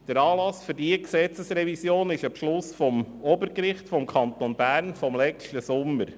Der Anlass für diese Gesetzesrevision ist der Beschluss des Obergerichts des Kantons Bern vom letzten Sommer.